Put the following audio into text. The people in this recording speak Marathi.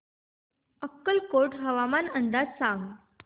अक्कलकोट हवामान अंदाज सांग